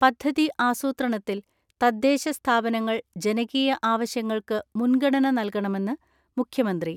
പദ്ധതി ആസൂത്രണത്തിൽ തദ്ദേശ സ്ഥാപനങ്ങൾ ജനകീയ ആവശ്യങ്ങൾക്ക് മുൻഗണന നൽകണമെന്ന് മുഖ്യമന്ത്രി.